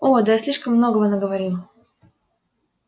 о да я слишком многого наговорил